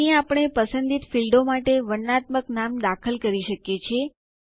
અહીં આપણે પસંદિત ફીલ્ડો માટે વર્ણનાત્મક નામ દાખલ કરી શકીએ છીએ